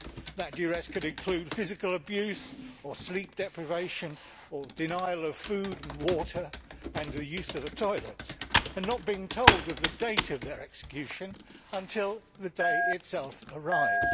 That duress could include physical abuse or sleep deprivation or denial of food and water and the use of a toilet and not being told of the date of their execution until the day itself arrives.